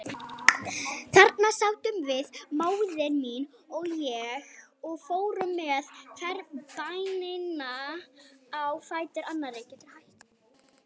Þarna sátum við, móðir mín og ég, og fórum með hverja bænina á fætur annarri.